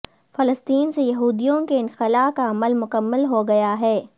فلسطین سے یہودیوں کے انخلاء کا عمل مکمل ہو گیا ہے